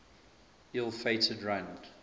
ill fated run